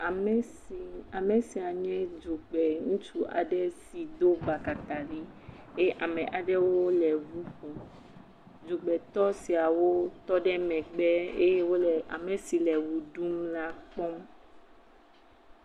Ame si ame sia nye dzogbe ŋutsu aɖe si do batakari eye ame aɖewo le ŋu ƒom. Dzogbetɔ siawo tɔ ɖe megbe eye wole ame si le ʋe ɖum la kpɔm.